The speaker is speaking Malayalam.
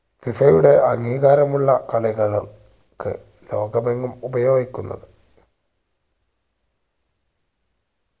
FIFA യുടെ അംഗീകാരമുള്ള കളികളും ക്കു ലോകമെങ്ങും ഉപയോഗിക്കുന്നത